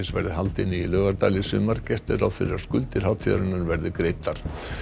verði haldin í Laugardal í sumar gert er ráð fyrir því að skuldir hátíðarinnar verði greiddar